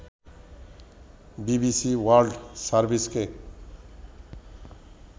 BBC world সার্ভিসকে